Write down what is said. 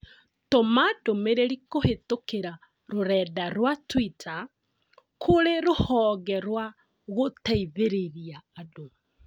Tũma ndũmĩrĩri kũhĩtũkĩra rũrenda rũa tũita kũrĩ rũhonge rwa gũteithĩrĩria andũ